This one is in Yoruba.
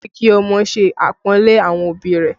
Ó yẹ kí ọmọ ṣe apọnle àwọn òbí rẹ̀